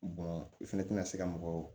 i fɛnɛ tɛna se ka mɔgɔw